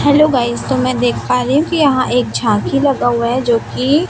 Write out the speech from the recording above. hello guys तो मैं देख पा रही हूं कि यहां एक झांकी लगा हुआ है जो कि--